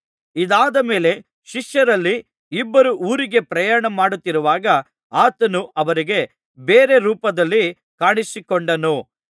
ಇದಾದ ಮೇಲೆ ಶಿಷ್ಯರಲ್ಲಿ ಇಬ್ಬರು ಊರಿಗೆ ಪ್ರಯಾಣ ಮಾಡುತ್ತಿರುವಾಗ ಆತನು ಅವರಿಗೆ ಬೇರೆ ರೂಪದಲ್ಲಿ ಕಾಣಿಸಿಕೊಂಡನು